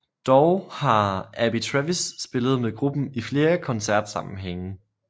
Dog har Abby Travis spillet med gruppen i flere koncertsammenhænge